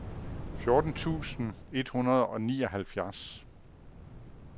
fjorten tusind et hundrede og nioghalvfems